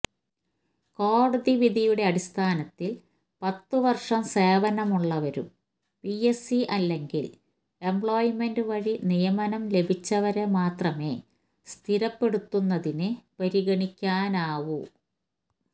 കോടതിവിധിയുടെ അടിസ്ഥാനത്തില് പത്തുവര്ഷം സേവനമുള്ളവരും പിഎസ്സി അല്ലെങ്കില് എംപ്ലോയ്മെന്റ്് വഴി നിയമനം ലഭിച്ചവരെ മാത്രമേ സ്ഥിരപ്പെടുത്തുന്നതിനു പരിഗണിക്കാനാവൂ